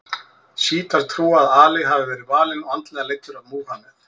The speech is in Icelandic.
Sjítar trúa að Ali hafi verið valinn og andlega leiddur af Múhameð.